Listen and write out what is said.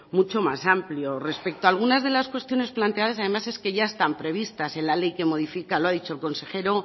mucho más amplio respecto a algunas de las cuestiones planteadas además es que ya están previstas en la ley que modifica lo ha dicho el consejero